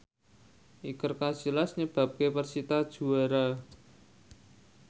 Iker Casillas nyebabke persita juara